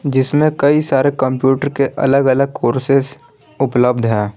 जिसमें कई सारे कंप्यूटर के अलग अलग कोर्सेज उपलब्ध है।